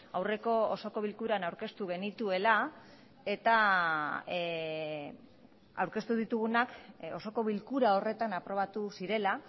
aurreko osoko bilkuran aurkeztu genituela eta aurkeztu ditugunak osoko bilkura horretan aprobatu zirela